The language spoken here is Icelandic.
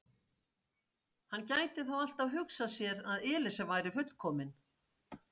Hann gæti þó alltaf hugsað sér að Elísa væri fullkomin.